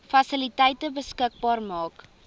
fasiliteite beskikbaar maak